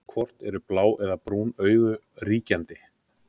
hvort eru blá eða brún augu ríkjandi